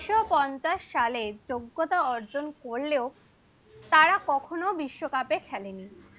so পঞ্চাশ সালে যোগ্যতা অর্জন করলেও তারা কখনো বিশ্বকাপে খেলেনি